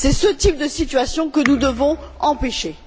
C'est ce type de situation que nous devons empêcher.